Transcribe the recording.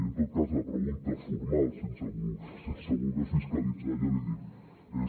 i en tot cas la pregunta formal sense voler fiscalitzar ja l’hi dic és